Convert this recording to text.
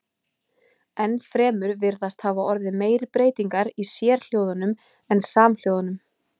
Enn fremur virðast hafa orðið meiri breytingar í sérhljóðunum en samhljóðunum.